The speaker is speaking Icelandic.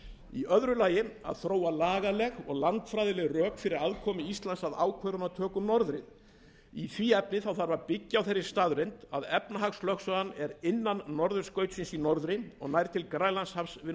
í öðru lagi að þróa lagaleg og landfræðileg rök fyrir aðkomu íslands að ákvörðunartöku um norðrið í því efni þarf að byggja á þeirri staðreynd að efnahagslögsagan er innan norðurskautsins í norðri og nær til grænlandshafs við